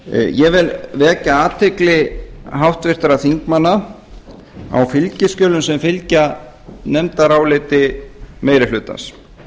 ég vil vekja athygli háttvirtra þingmanna á fylgiskjölum sem fylgja nefndaráliti meiri hlutans